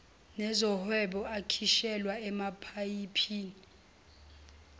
nezohwebo akhishelwa emapayipini